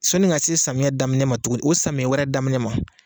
Sɔnni ka se samiyɛn daminɛ ma tuguni o samiyɛn wɛrɛ daminɛ ma.